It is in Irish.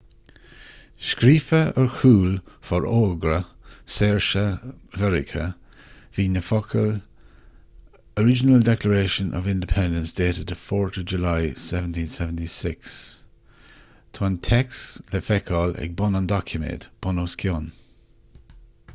scríofa ar chúl fhorógra saoirse mheiriceá bhí na focail original declaration of independence dated 4th july 1776 tá an téacs le feiceáil ag bun an doiciméid bunoscionn